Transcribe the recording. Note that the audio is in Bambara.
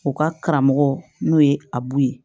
U ka karamɔgɔ n'o ye abu ye